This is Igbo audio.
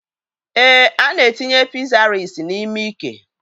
Èé, ana etinye pịsaris n'ime ike